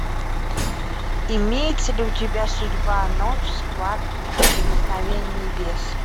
имеется ли у тебя судьба ночь схватки прикосновение небес